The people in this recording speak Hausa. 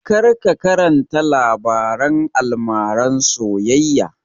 Kar ka karanta labaren almaran soyayya!